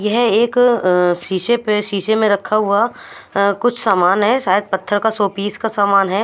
यह एक अं शीशे पे शीशे मे रखा हुआ अं कुछ सामान है शायद पत्थर का शोपीस का सामान है।